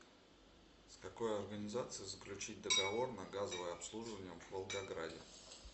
с какой организацией заключить договор на газовое обслуживание в волгограде